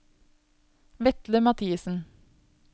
Vetle Mathiesen